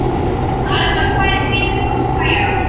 Það renna tvær grímur á spæjarann.